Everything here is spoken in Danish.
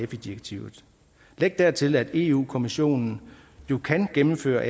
direktivet læg dertil at europa kommissionen jo kan gennemføre